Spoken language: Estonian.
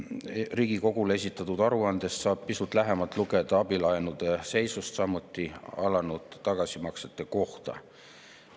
Riigikogule esitatud aruandest saab pisut lähemalt lugeda abilaenude seisust, samuti alanud tagasimaksete kohta.